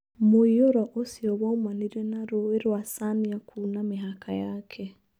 Mũiyũrwo ũcio waumanire na rũĩ rwa cania kuna mĩhaka yake.